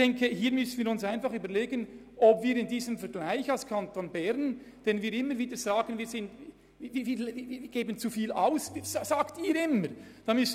Wir müssen uns überlegen, ob wir nicht sagen wollen, wir seien nicht gezwungen, diesen Zusatzbeitrag zu bezahlen.